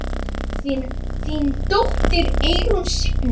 Þín dóttir, Eyrún Signý.